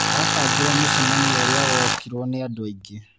Abangire mũcemanio ũrĩa wokirwo nĩ andũ aingĩ.